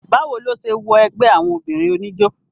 bá wo ló se wọ ẹgbẹ́ àwọn obìnrin oníjó?